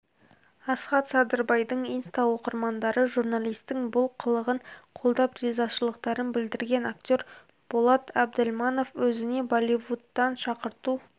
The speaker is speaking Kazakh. асхат садырбайдың инста оқырмандары журналистің бұл қылығын қолдап ризашылықтарын білдірген актер болат әбділманов өзіне болливудтан шақырту